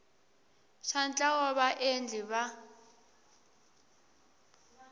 xa ntlawa wa vaendli va